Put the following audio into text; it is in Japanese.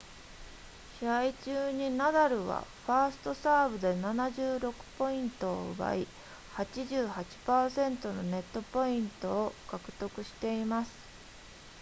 試合中にナダルはファーストサーブで76ポイントを奪い 88% のネットポイントを獲得しています